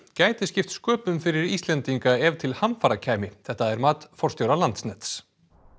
gæti skipt sköpum fyrir Íslendinga ef til hamfara kæmi þetta er mat forstjóra Landsnets